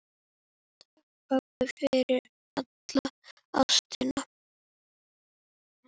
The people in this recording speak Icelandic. Takk, pabbi, fyrir alla ástina.